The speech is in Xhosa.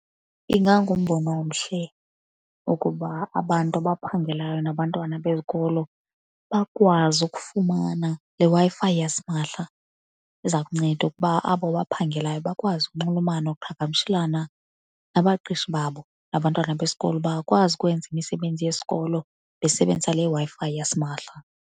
Ingangumbono omhle ukuba abantu abaphangelayo nabantwana bezikolo bakwazi ukufumana le Wi-Fi yasimahla. Iza kunceda ukuba abo baphangelayo bakwazi ukunxulumana nokuqhagamshelana nabaqeshi babo. Nabantwana besikolo bangakwazi ukwenza imisebenzi yesikolo besebenzisa le Wi-Fi yasimahla.